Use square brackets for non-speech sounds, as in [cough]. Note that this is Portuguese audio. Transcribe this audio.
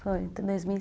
Foi, em dois [unintelligible]